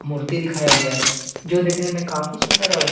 मूर्ति दिखाया गया है जो देखने में काफी सुंदर और --